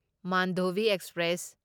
Mandovi express